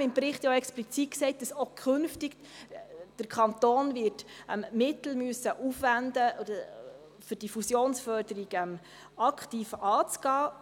im Bericht deswegen auch explizit gesagt, dass der Kanton auch künftig Mittel aufwenden müsse, um die Fusionsförderung aktiv anzugehen.